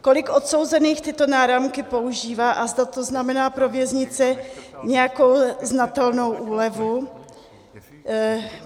Kolik odsouzených tyto náramky používá, a zda to znamená pro věznice nějakou znatelnou úlevu.